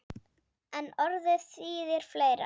En orðið þýðir fleira.